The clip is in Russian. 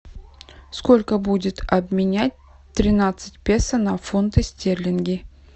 сколько будет обменять тринадцать песо на фунты стерлинги